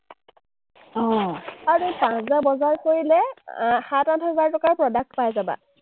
আৰু তুমি পাঁচ হাজাৰ বজাৰ কৰিলে আহ সাত আঠ হাজাৰ টকাৰ product পাই যাবা।